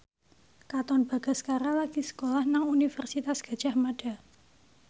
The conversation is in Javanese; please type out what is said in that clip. Katon Bagaskara lagi sekolah nang Universitas Gadjah Mada